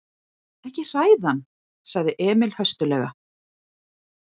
Ekki hræða hann, sagði Emil höstuglega.